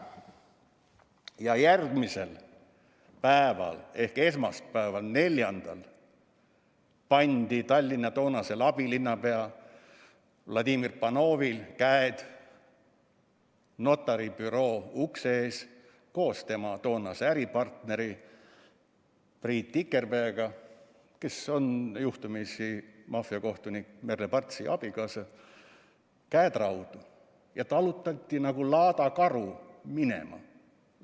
Ja järgmisel päeval ehk esmaspäeval, 4. märtsil pandi Tallinna toonasel abilinnapeal Vladimir Panovil ja tema toonasel äripartneril Priit Tikerpel, kes on juhtumisi maffiakohtunik Merle Partsi abikaasa, notaribüroo ukse ees käed raudu ja nad talutati nagu laadakarud minema.